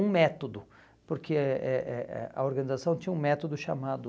Um método, porque eh eh eh eh a organização tinha um método chamado...